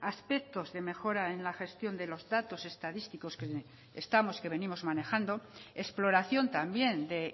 aspectos de mejora en la gestión de los datos estadísticos que venimos manejando exploración también de